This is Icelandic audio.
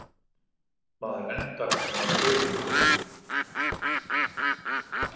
Maður endar með að gruna alla.